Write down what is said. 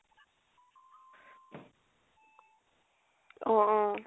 অ